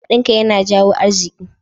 Haɗin kai yana jawo arziki.